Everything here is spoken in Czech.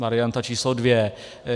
Varianta číslo dvě.